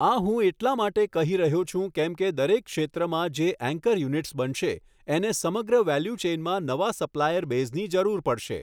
આ હું એટલા માટે કહી રહ્યો છું કેમ કે દરેક ક્ષેત્રમાં જે ઍન્કર યુનિટ્સ બનશે એને સમગ્ર વૅલ્યુ ચૅઇનમાં નવા સપ્લાયર બૅઝની જરૂર પડશે.